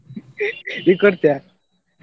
ನೀ ಕೊಡ್ತೀಯಾ?